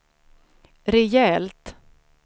rejält